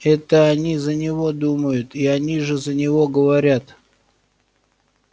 это они за него думают и они же за него говорят